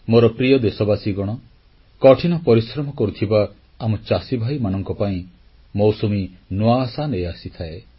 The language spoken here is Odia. ମୋର ପ୍ରିୟ ଦେଶବାସୀଗଣ କଠିନ ପରିଶ୍ରମ କରୁଥିବା ଆମ ଚାଷୀଭାଇମାନଙ୍କ ପାଇଁ ମୌସୁମୀ ନୂଆ ଆଶା ନେଇ ଆସିଥାଏ